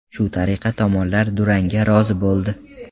Shu tariqa tomonlar durangga rozi bo‘ldi.